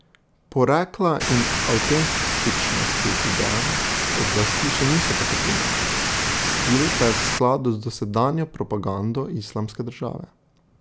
Porekla in avtentičnosti videa oblasti še niso potrdile, stil pa je v skladu z dosedanjo propagando Islamske države.